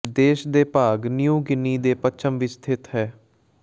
ਦੇਸ਼ ਦੇ ਭਾਗ ਨਿਊ ਗਿਨੀ ਦੇ ਪੱਛਮ ਵਿਚ ਸਥਿਤ ਹੈ